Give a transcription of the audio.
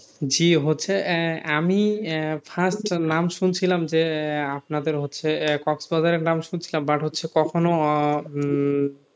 জি হচ্ছে আহ আমি আহ first নাম শুনছিলাম যে আহ আপনাদের হচ্ছে আহ কক্সবাজারের নাম শুনছিলাম but হচ্ছে কখনো উম